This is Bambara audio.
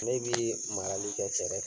Ne bii marali kɛ kɛfɛɛrɛf